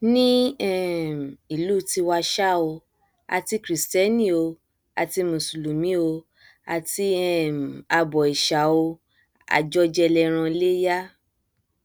ní um ìlú tiwa ṣá o àti kìrìstẹnì o àti mùsùlùmí o àti um abọìṣà o àjọjẹ lẹran iléyá